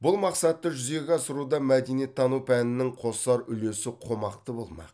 бұл мақсатты жүзеге асыруда мәдениеттану пәнінің қосар үлесі қомақты болмақ